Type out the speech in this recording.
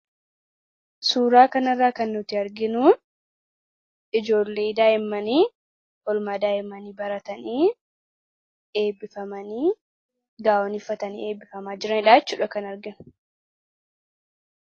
Suuraa kanarraa kan nuti arginu ijoollee daa'immanii oolmaa daa'imanii baratanii eebbifamanii gaa'onii uffatanii eebbifamaa jiranidha jechuudha kan arginu.